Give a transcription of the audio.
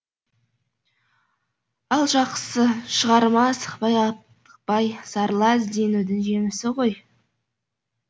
ал жақсы шығарма асықпай аптықпай сарыла ізденудің жемісі ғой